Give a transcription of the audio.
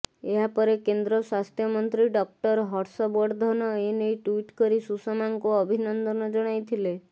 ଏହା ପରେ କେନ୍ଦ୍ର ସ୍ୱାସ୍ଥ୍ୟମନ୍ତ୍ରୀ ଡକ୍ଟର ହର୍ଷବର୍ଦ୍ଧନ ଏନେଇ ଟ୍ବିଟ୍ କରି ସୁଷମାଙ୍କୁ ଅଭିନନ୍ଦନ ଜଣାଇଥିଲେ